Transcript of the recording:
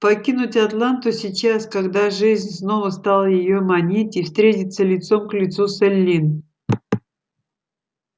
покинуть атланту сейчас когда жизнь снова стала её манить и встретиться лицом к лицу с эллин